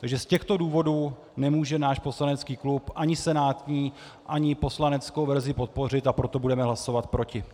Takže z těchto důvodů nemůže náš poslanecký klub ani senátní, ani poslaneckou verzi podpořit, a proto budeme hlasovat proti.